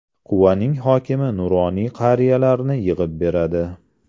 Quvaning hokimi nuroniy qariyalarni yig‘ib beradi.